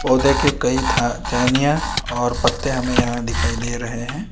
पौधे के कई था टहनियां और पत्ते हमें यहां दिखाई दे रहे हैं।